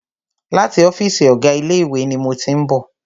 Láti ọ́fìsì ọ̀gá ilé ìwé ni mo tí ń bọ̀.